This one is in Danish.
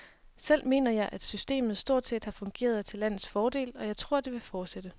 Selv mener jeg, at systemet stort set har fungeret til landets fordel, og jeg tror det vil fortsætte.